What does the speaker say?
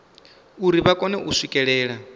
uri vha kone u swikelela